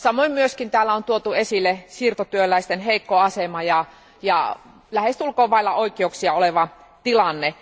Samoin myös täällä on tuotu esille siirtotyöläisten heikko asema ja lähestulkoon vailla oikeuksia oleva tilanne.